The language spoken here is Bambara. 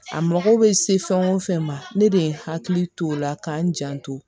A mako bɛ se fɛn o fɛn ma ne de ye hakili to o la ka n janto